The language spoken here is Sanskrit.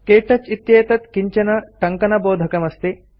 क्तौच इत्येतत् किञ्चन टङ्कनबोधकम् अस्ति